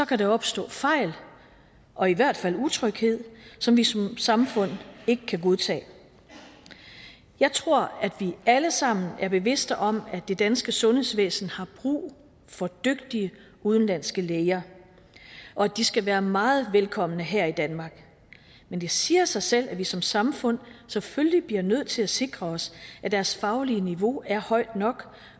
kan der opstå fejl og i hvert fald utryghed som vi som samfund ikke kan godtage jeg tror at vi alle sammen er bevidste om at det danske sundhedsvæsen har brug for dygtige udenlandske læger og de skal være meget velkomne her i danmark men det siger sig selv at vi som samfund selvfølgelig bliver nødt til at sikre os at deres faglige niveau er højt nok